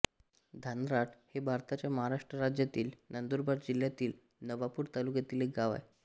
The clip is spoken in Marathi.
धानराट हे भारताच्या महाराष्ट्र राज्यातील नंदुरबार जिल्ह्यातील नवापूर तालुक्यातील एक गाव आहे